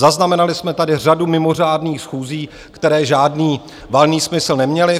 Zaznamenali jsme tady řadu mimořádných schůzí, které žádný valný smysl neměly.